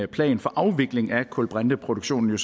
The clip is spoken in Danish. plan for afvikling af kulbrinteproduktion